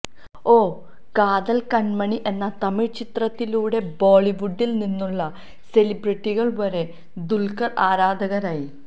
ഓ കാതല് കണ്മണി എന്ന തമിഴ് ചിത്രത്തിലൂടെ ബോളിവുഡില് നിന്നുള്ള സെലിബ്രിറ്റികള് വരെ ദുല്ഖര് ആരാധകരായി